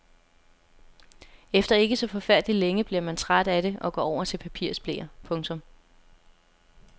Efter ikke så forfærdelig længe bliver man træt af det og går over til papirsbleer. punktum